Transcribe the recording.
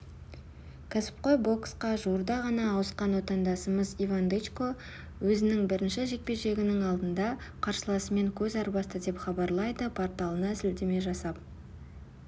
кәсіпқой боксқа жуырда ғана ауысқан отандасымыз иван дычко өзінің бірінші жекпе-жегінің алдында қарсыласымен көз арбасты деп хабарлайды порталына сілтеме жасап